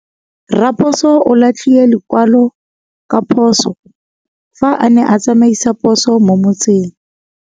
Raposo o latlhie lekwalô ka phosô fa a ne a tsamaisa poso mo motseng.